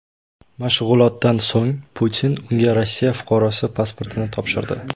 Mashg‘ulotdan so‘ng Putin unga Rossiya fuqarosi pasportini topshirdi.